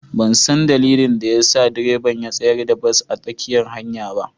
Ban san dalilin da ya sa direban ya tsayar da bas a tsakiyar hanyar ba.